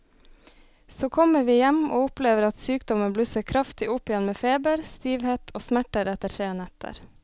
Så kommer vi hjem og opplever at sykdommen blusser kraftig opp igjen med feber, stivhet og smerter etter tre netter.